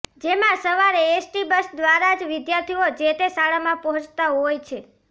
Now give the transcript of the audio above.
જેમાં સવારે ST bus દ્વારા જ વિદ્યાર્થીઓ જે તે શાળમાં પહોંચતા હોય છે